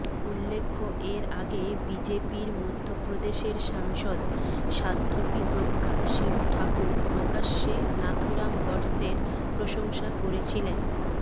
উল্লেখ্য এর আগে বিজেপির মধ্যপ্রদেশের সাংসদ স্বাধ্বী প্রজ্ঞা সিং ঠাকুর প্রকাশ্যে নাথুরাম গডসের প্রশংসা করেছিলেন